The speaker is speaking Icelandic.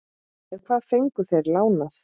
En hvað fengu þeir lánað?